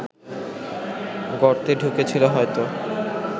গর্তে ঢুকেছিল হয়তো